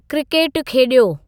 क्रिकेटु खेॾियो